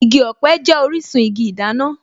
Igi ọ̀pẹ jẹ́ orísun igi ìdáná